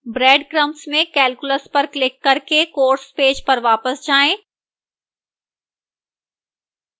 breadcrumbs में calculus पर click करके course पेज पर वापस जाएँ